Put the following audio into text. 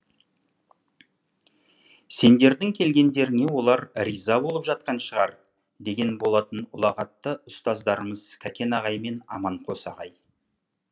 сендердің келгендеріңе олар риза болып жатқан шығар деген болатын ұлағатты ұстаздарымыз кәкен ағай мен аманқос ағай